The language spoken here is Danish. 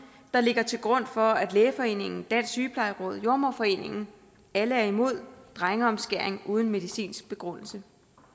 der ligger til grund for at lægeforeningen dansk sygeplejeråd jordemoderforeningen at alle er imod drengeomskæring uden medicinsk begrundelse